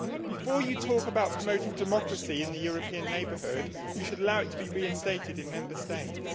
Before you talk about promoting democracy in the European Neighbourhood, you should allow it to be reinstated in Member States.